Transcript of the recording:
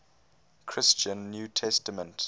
christian new testament